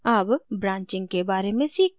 अब branching के बारे में सीखते हैं